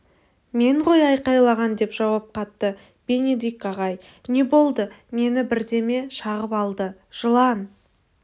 мен ғой айқайлаған деп жауап қатты бенедикт ағай не болды мені бірдеме шағып алды жылан